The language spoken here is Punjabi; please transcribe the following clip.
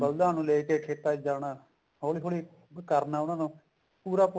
ਬਲਦਾਂ ਨੂੰ ਲੈ ਕੇ ਖੇਤਾਂ ਚ ਜਾਣਾ ਹੋਲੀ ਹੋਲੀ ਕਰਨਾ ਉਹਨਾ ਨੂੰ ਪੂਰਾ